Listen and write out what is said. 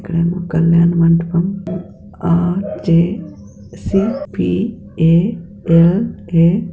ఇక్కడ ఒక కల్యాణ మండపం ఆర్_జె_ సి_ పి_ఏ_ఎల్_ఏ_--